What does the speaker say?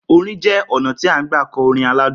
Orin jẹ́ ọnà ti n gbà kọ orin aládùn